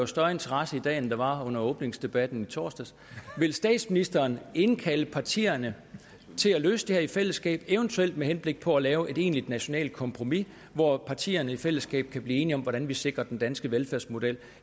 større interesse i dag end der var under åbningsdebatten i torsdags vil statsministeren indkalde partierne til at løse det her i fællesskab eventuelt med henblik på at lave et egentligt nationalt kompromis hvor partierne i fællesskab kan blive enige om hvordan vi sikrer den danske velfærdsmodel